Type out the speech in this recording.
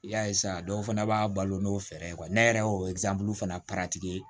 I y'a ye sa dɔw fana b'a balo n'o fɛɛrɛ ye ne yɛrɛ y'o fana